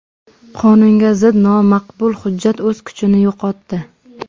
Qonunga zid nomaqbul hujjat o‘z kuchini yo‘qotdi.